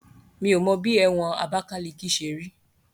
Mi ò mọ bí ẹ̀wọ̀n Abakaliki ṣe rí